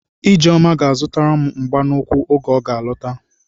Ijeọma ga-azụtaram mgba n'ụkwụ oge ọga alọta.